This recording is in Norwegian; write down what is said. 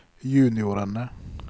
juniorene